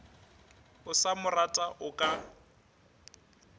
o sa morata o ka